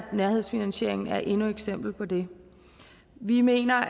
nærhedsfinansieringen er endnu et eksempel på det vi mener